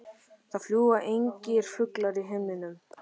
Það fljúga engir fuglar í himninum.